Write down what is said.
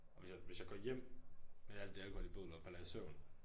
Og hvis jeg hvis jeg går hjem med alt det alkohol i blodet og falder i søvn